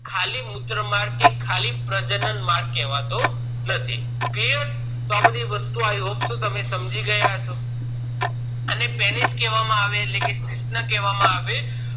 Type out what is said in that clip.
ખાલી મૂત્ર માર્ગ કે ખાલી પ્રજનન માર્ગ કેવાતો નથી clear તો આ બધી વસ્તુઓ તમ i hope so સમજી ગયા હસો એને penish કેહવામાં આવે છે એટલે કે શિશ્ન કહેવામાં આવે છે